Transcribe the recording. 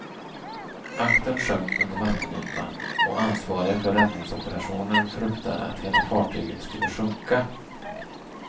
Aktern sjönk under vattenytan, och ansvariga för räddningsoperationen fruktade att hela fartyget sklle sjunka.